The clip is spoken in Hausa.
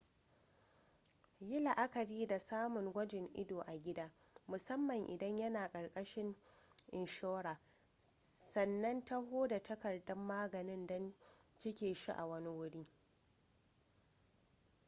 yi la'akari da samun gwajin ido a gida musamman idan yana ƙarkashin inshora sannan taho da takardar maganin don cike shi a wani wuri